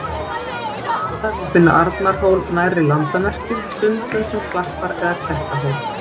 Sums staðar má finna Arnarhól nærri landamerkjum, stundum sem klappar- eða klettahól.